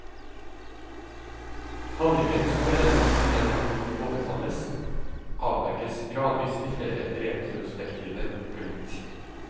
Handlingen som leder frem til den natten hun overfalles, avdekkes gradvis i flere retrospektive glimt.